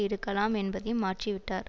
இருக்கலாம் என்பதையும் மாற்றிவிட்டார்